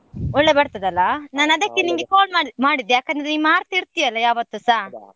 ಒಳ್ಳೆ ಬರ್ತದೆ ಅಲ್ಲ, ನಾನ್ ಅದಕ್ಕೆ ನಿಂಗೆ call ಮಾ~ ಮಾಡಿದ್ ಯಾಕಂದ್ರೆ ನೀನ್ ಮಾಡ್ತಾ ಇರ್ತಿ ಅಲ್ಲ ಯಾವತ್ತುಸಾ.